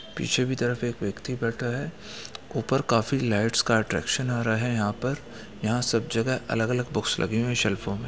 पीछे की तरफ एक व्यक्ति बैठा है ऊपर काफी लाइट्स का अट्रैक्शन आ रहा है यहाँ पर यहाँ सब जगह अलग-अलग बुक्स लगे हुए है सेल्फो में।